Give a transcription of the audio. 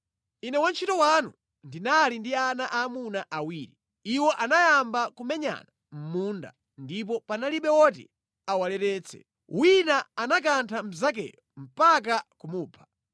Ine wantchito wanu ndinali ndi ana aamuna awiri. Iwo anayamba kumenyana mʼmunda, ndipo panalibe woti awaleretse. Wina anakantha mnzakeyo mpaka kumupha.